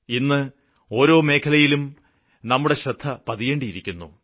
ഇന്ന് ഓരോ മേഖലയിലും നമ്മുടെ ശ്രദ്ധപതിയേണ്ടിയിരിക്കുന്നു